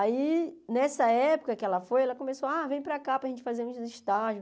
Aí, nessa época que ela foi, ela começou, ah, vem para cá para a gente fazer uns estágios.